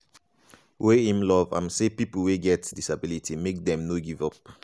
wey im love and say pipo wey get disability make dem no give up.